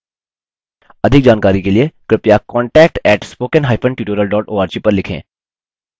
अधिक जानकारी के लिए कृपया contact @spokentutorial org पर लिखें